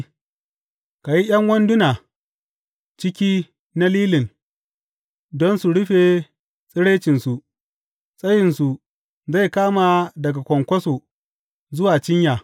Ka yi ’yan wandunan ciki na lilin don su rufe tsiraicinsu, tsayinsu zai kama daga kwankwaso zuwa cinya.